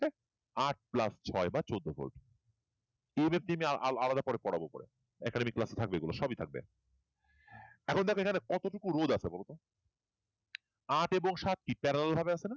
আট plus ছয় বা চোদ্দ EMF পরে আলাদা পড়াব পরে academic class থাকবে বলে সবি থাকবে এখন কতটুকু রোধ আছে বলতো আট এবং সাত parallel ভাবে আছে না?